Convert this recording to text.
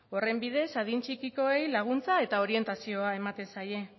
horren bidez adin txikikoei laguntza eta orientazioa ematen zaie